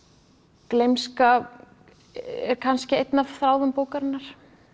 gleymska er kannski einn af þráðum bókarinnar